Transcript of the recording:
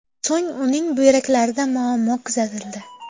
So‘ng uning buyraklarida muammo kuzatildi.